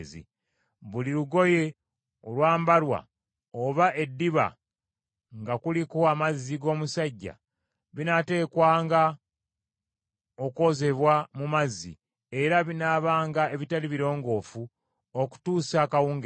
Buli lugoye olwambalwa oba eddiba nga kuliko amazzi g’obusajja, binaateekwanga okwozebwa mu mazzi, era binaabanga ebitali birongoofu okutuusa akawungeezi.